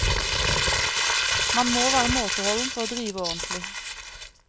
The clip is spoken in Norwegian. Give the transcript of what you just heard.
Man må være måteholden for å drive ordentlig.